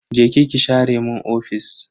Je ki ki share mun ofis.